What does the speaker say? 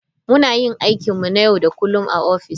Muna yin aikinmu na yau da kullun a ofis.